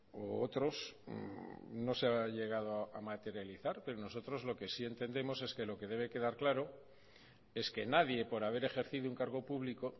u otros no se ha llegado a materializar pero nosotros lo que sí entendemos es que lo que debe quedar claro es que nadie por haber ejercido un cargo público